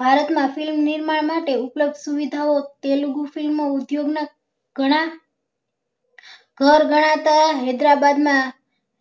ભારત માં filmm નિર્માણ માટે ઉપલબ્ધ સુવિધા ઓ તેલુગુ filmm ઉદ્યોગ ના ગણા ઘર ગણાતા હૈદરાબાદ માં